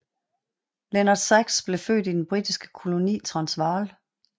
Leonard Sachs blev født i den britiske koloni Transvall